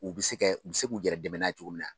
U bi se kɛ u bi se k'u yɛrɛ dɛmɛn n'a ye cogo min na.